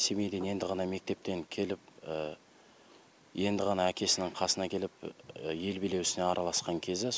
семейден енді ғана мектептен келіп енді ғана әкесінің қасына келіп ел билеу ісіне араласқан кезі